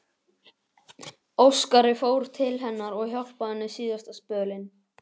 Óskari, fór til hennar og hjálpaði henni síðasta spölinn.